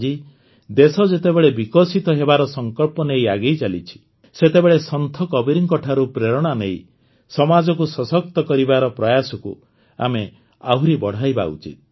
ଆଜି ଦେଶ ଯେତେବେଳେ ବିକଶିତ ହେବାର ସଂକଳ୍ପ ନେଇ ଆଗେଇଚାଲିଛି ସେତେବେଳେ ସନ୍ଥ କବୀରଙ୍କଠାରୁ ପ୍ରେରଣା ନେଇ ସମାଜକୁ ସଶକ୍ତ କରିବାର ପ୍ରୟାସକୁ ଆମେ ଆହୁରି ବଢ଼ାଇବା ଉଚିତ